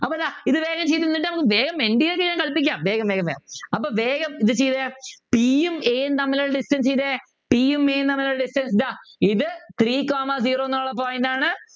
അപ്പോ ദാ ഇത് വേഗം ചെയ്ത് എന്നിട്ട് നമുക്ക് വേഗം ചെയ്യ വേഗം വേഗം വേഗം അപ്പൊ വേഗം ഇത് ചെയ്ത P യും A യും തമ്മിലുള്ള distance ചെയ്തേ P യും A യും തമ്മിലുള്ള distance ഇതാ ഇത് three comma zero എന്നുള്ള point ആണ്